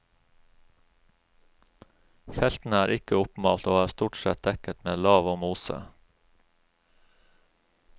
Feltene er ikke oppmalt og er stort sett dekket med lav og mose.